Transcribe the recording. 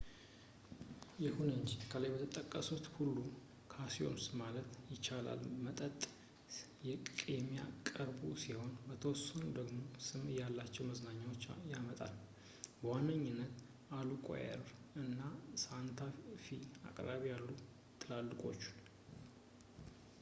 ይሁን እንጂ፣ ከላይ የተጠቀሱት ሁሉም casinos ማለት ይቻላት መጠጥ የሚያቀርቡ ሲሆን የተወሰኑት ደግሞ ስም ያላቸውን መዝናኛዎች ያመጣሉ በዋነኛነት albuquerque and santa fe አቅራቢያ ያሉትን ትላልቆቹን